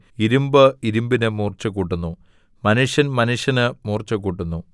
ഇരിമ്പ് ഇരിമ്പിന് മൂർച്ചകൂട്ടുന്നു മനുഷ്യൻ മനുഷ്യന് മൂർച്ചകൂട്ടുന്നു